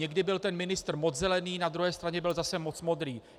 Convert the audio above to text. Někdy byl ten ministr moc zelený, na druhé straně byl zase moc modrý.